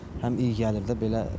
Həm iyi gəlir də belə.